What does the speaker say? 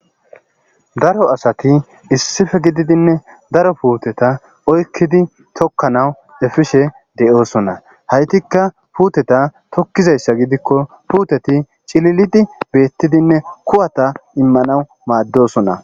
Daro asati issife gididinne daro puuteta oykkidi tokkanawu efishe de7oosona haytikka puuteta tokkizayssa gidikko puuteti cililidi beettidinne kuwata immanawu maaddosona